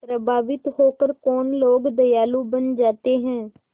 प्रभावित होकर कौन लोग दयालु बन जाते हैं